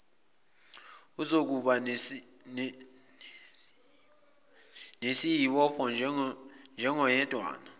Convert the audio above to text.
uzokuba nesiobopho njengoyedwana